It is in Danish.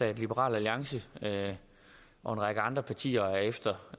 at liberal alliance og en række andre partier